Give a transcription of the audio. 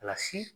Kilasi